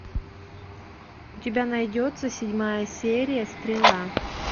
у тебя найдется седьмая серия стрела